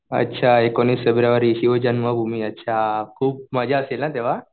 अच्छा एकोणीस फेब्रुवारी शिवजन्मभूमी अच्छा खूप मजा असेल ना तेंव्हा?